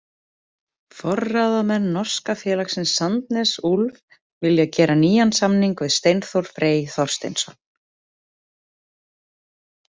Forráðamenn norska félagsins Sandnes Ulf vilja gera nýjan samning við Steinþór Frey Þorsteinsson.